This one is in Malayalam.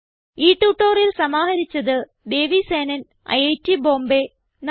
ഈ ട്യൂട്ടോറിയൽ സമാഹരിച്ചത് ദേവി സേനൻ ഐറ്റ് ബോംബേ നന്ദി